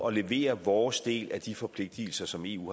at levere vores del af de forpligtelser som eu